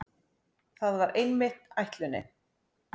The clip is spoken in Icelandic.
Það var einmitt ætlunin.